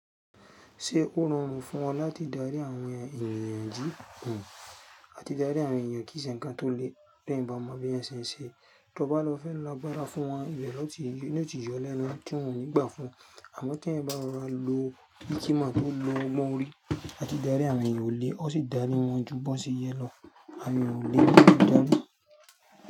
Ṣé ó rọrùn fún ọ láti dárí àwọn ènìyàn jí? Àti dárí àwọn èeyan kí se nnkan tó lẹ́ bí ẹeyan ba mo bi eeyan ṣẹ̀ n sẹ̀. Tí o bá lọ fẹ́ lọ gbára fún wọn lẹ́yìn ọtí ìjọ lẹ́nu tí wọ́n ò ní gbà fún ọ àmọ́ tí ẹ̀ ń bá rọra lo bí kí mọ̀ tó lo ọgbọ́n orí àti dárí àwọn ènìyàn ó le ó sì dání wọn ju bọ́nsì yẹn lọ. Àwọn ènìyàn kò lè dání.